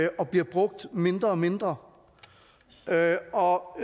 og bliver brugt mindre mindre og